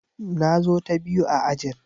Na zo ta biyu a ajin.